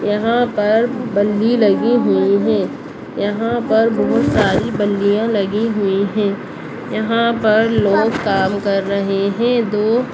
यहां पर बलि लगि हुई है यहां पर बहोत सारे बलियाँ लगि हुई हैं यहां पर लोग काम कार रहे हैं दो --